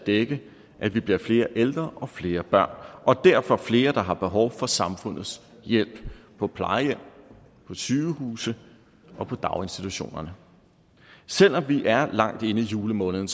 dække at vi bliver flere ældre og flere børn og derfor flere der har behov for samfundets hjælp på plejehjem på sygehuse og på daginstitutioner selv om vi er langt inde i julemåneden